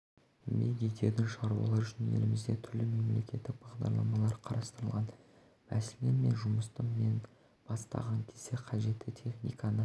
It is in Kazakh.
еңбек ететін шаруалар үшін елімізде түрлі мемлекеттік бағдарламалар қарастырылған мәселен мен жұмысты бастаған кезде қажетті техниканы